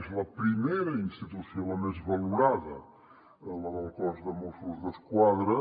és la primera institució la més valorada la del cos de mossos d’esquadra